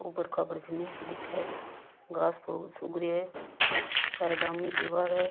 उबड़ खाबड़ जमीन सी दिखे है घास फुस उग रियाे है साइडा में दिवार है।